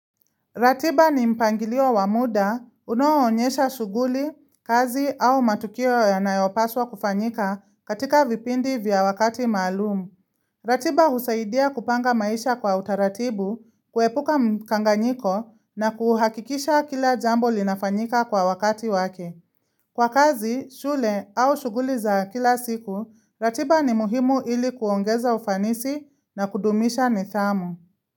Ratiba ni mpangilio wa muda, unaonyesha shughuli, kazi au matukio yanayopaswa kufanyika katika vipindi vya wakati maalumu. Ratiba husaidia kupanga maisha kwa utaratibu, kuepuka mkanganyiko na kuhakikisha kila jambo linafanyika kwa wakati wake. Kwa kazi, shule au shughuli za kila siku, ratiba ni muhimu ili kuongeza ufanisi na kudumisha nidhamu.